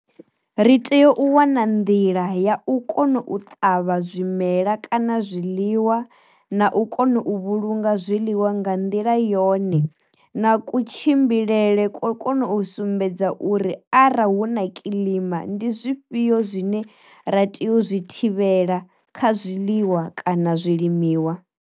Ri tea u wana nḓila ya u kona u ṱavha zwimela kana zwiḽiwa na u kona u vhulunga zwiḽiwa nga nḓila yone, na ku tshimbilele kwo kona u sumbedza uri arali hu na kiḽima ndi zwifhio zwine ra tea u zwi thivhela kha zwiḽiwa kana zwi limiwa.